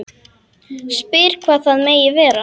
Spyr hvað það megi vera.